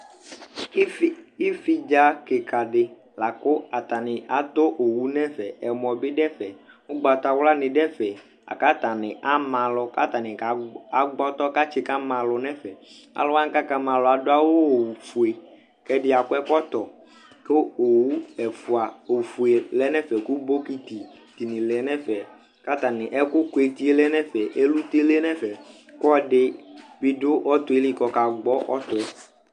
Ivi, ividza kika di la kʋ atani atɔ owu nɛfɛ, ɛmɔ bi dʋ ɛfɛ, ʋgbatawla ni dʋ ɛfɛ, la kʋ atani ama alʋ, katani agbɔtɔ katsi kama alʋ nɛfɛ Alʋ wani kakama alʋ adʋ awʋ fue kʋ ɛdi akɔ ɛkɔtɔ, kʋ owu ɛfua, ofue lɛ nɛfɛ kʋ bokiti di ni lɛ nʋ ɛfɛ, kʋ atani, ɛkʋ kʋ eti e lɛ nɛfɛ, ɛlʋte lɛ nɛfɛ kʋ ɛdi bi dʋ ɔtɔ yɛ li kʋ ɔkagbɔ ɔtɔ ɛ